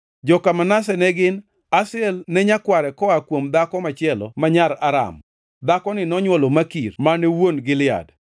Joka Manase ne gin: Asriel ne nyakware koa kuom dhako machielo ma nyar Aram. Dhakoni nonywolo Makir mane wuon Gilead.